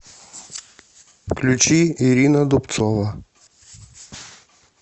включи ирина дубцова